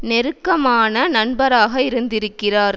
நெருக்கமான நண்பராக இருக்கின்றார்